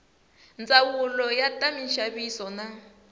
ndzawulo ya ta minxaviso na